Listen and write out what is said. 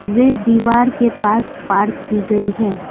वे दीवार के पास पार्क की गई है।